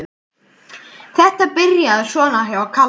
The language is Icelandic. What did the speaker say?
Þetta byrjaði svona hjá Kalla.